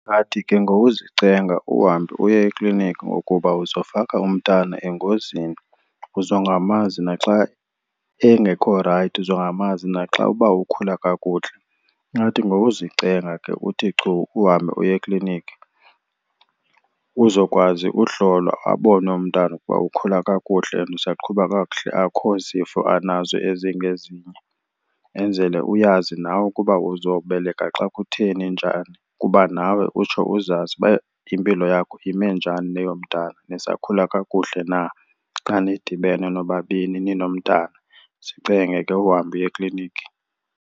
Ingathi ke ngowuzicenga uhambe uye ekliniki ngokuba uzofaka umntana engozini, uzongamanzi naxa engekho rayithi, uzongamanzi naxa uba ukhula kakuhle. Ingathi ngowuzicenga ke uthi chu uhambe uye ekliniki uzokwazi uhlolwa abonwe umntana ukuba ukhula kakuhle and usaqhuba kakuhle akho zifo anazo ezingezinye. Enzele uyazi nawe ukuba uzobeleka xa kutheni njani, kuba nawe utsho uzazi uba impilo yakho ime njani neyomntana, nisakhula kakuhle na xa nidibene nobabini ninomntana. Zicenge ke uhambe uye ekliniki.